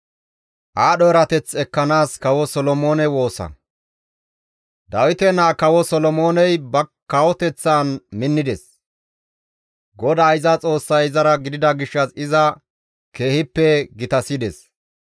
Dawite naa Kawo Solomooney ba kawoteththan minnides; GODAA iza Xoossay izara gidida gishshas iza keehippe gitasides.